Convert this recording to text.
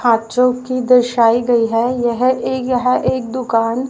हां जोकि दर्साई गई है यह एक यह एक दुकान --